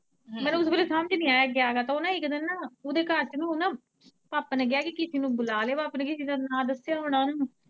ਸਮਝ ਨੀ ਆਇਆ ਗਿਆ ਕਾਤੋਂ ਨਾ ਇੱਕ ਦਿਨ ਓਦੇ ਘਰ ਚ ਨਾ ਉਨੂੰ ਨਾ ਪਾਪਾ ਨੇ ਕਿਹਾ ਕਿਸੇ ਨੂੰ ਬੁਲਾ ਲਿਉ, ਪਾਪਾ ਨੇ ਕਿਸੇ ਦਾ ਨਾਂ ਦੱਸਿਆ ਹੋਣਾ ਨਾ।